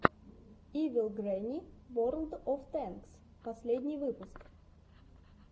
ивил грэнни ворлд оф тэнкс последний выпуск